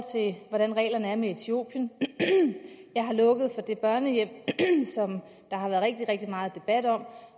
etiopien jeg har lukket for det børnehjem som der har været rigtig rigtig meget debat om